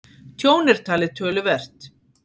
Tjón er talið töluvert